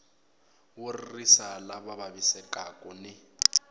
wo ririsa lava vavisekaku ni